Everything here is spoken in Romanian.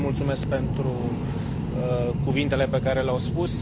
Le mulțumesc pentru cuvintele pe care le au spus.